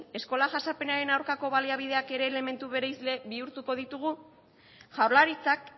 eskola jazarpenaren aurkako baliabideak ere elementu bereizle bihurtuko ditugu jaurlaritzak